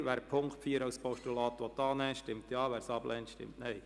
Wer den Punkt 4 als Postulat annehmen will, stimmt Ja, wer dies ablehnt, stimmt Nein.